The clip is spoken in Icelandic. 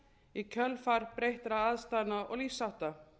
í kjölfar breyttra aðstæðna og lífshátta